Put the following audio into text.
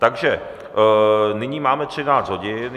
Takže nyní máme 13 hodin.